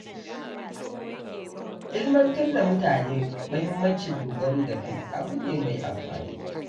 Ilmantar da mutane muhimmancin dogaro da kai abu ne mai amfani